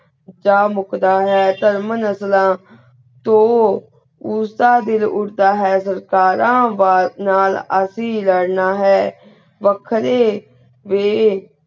ਜਾ ਮੁਕ ਦਾ ਹੈ ਤਾਰ੍ਮਾਂ ਨਸਲਾ ਤੋ ਉਸ ਦਾ ਦਿਲ ਉਰਤਾ ਹੈ ਨਾਲ ਅਸੀਂ ਲ੍ਰਨਾ ਹੈ ਵੱਖਰੇ ਵੇ